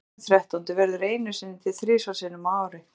Föstudagurinn þrettándi verður einu sinni til þrisvar sinnum á ári.